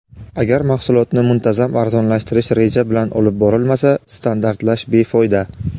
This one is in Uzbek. Agar mahsulotni muntazam arzonlashtirish reja bilan olib borilmasa standartlash befoyda.